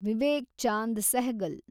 Vivek Chand Sehgal